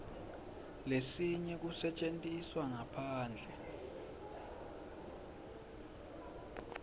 lesinyenti kusetjentiswe ngaphandle